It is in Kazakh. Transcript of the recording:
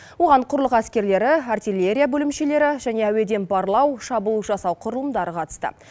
оған құрлық әскерлері артиллерия бөлімшелері және әуеден барлау шабуыл жасау құрылымдары қатысты